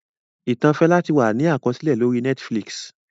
Ìtàn Fẹlá ti wà ní àkọsílẹ̀ lórí Netflix